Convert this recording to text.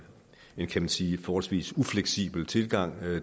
en kan man sige forholdsvis ufleksibel tilgang